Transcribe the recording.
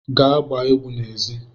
Gaa gbaa egwu n'èzí!